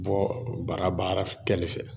Bɔ baara baara kɛli fɛ.